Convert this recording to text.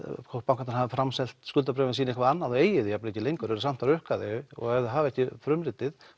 hvort bankarnir hafi framselt skuldabréfin sín eitthvað annað og eigi þau jafn vel ekki lengur en samt rukkar þig ef þau hafa ekki frumritið